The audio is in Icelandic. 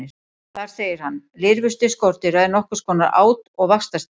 Þar segir hann: Lirfustig skordýra er nokkurs konar át- og vaxtarstig.